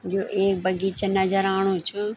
यु एक बगीचा नजर आणु च।